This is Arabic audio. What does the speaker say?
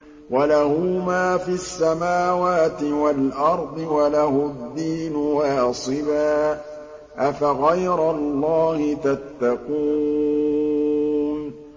وَلَهُ مَا فِي السَّمَاوَاتِ وَالْأَرْضِ وَلَهُ الدِّينُ وَاصِبًا ۚ أَفَغَيْرَ اللَّهِ تَتَّقُونَ